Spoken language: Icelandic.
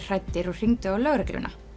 hræddir og hringdu á lögregluna